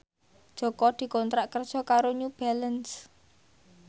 Jaka dikontrak kerja karo New Balance